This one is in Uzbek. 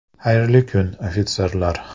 – Xayrli kun, ofitserlar.